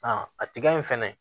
a tiga in fɛnɛ